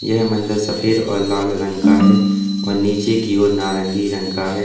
यह मंदिर सफेद और लाल रंग का है और नीचे की ओर नारंगी रंग का है।